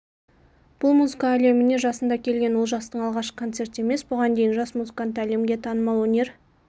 бұл музыка әлеміне жасында келген олжастың алғашқы концерті емес бұған дейін жас музыкант әлемге танымал өнер